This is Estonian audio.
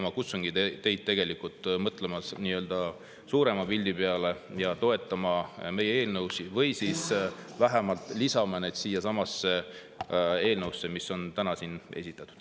Ma kutsungi teid üles mõtlema nii-öelda suurema pildi peale ja toetama meie eelnõusid või vähemalt lisama siiasamasse eelnõusse, mis on täna siin esitatud.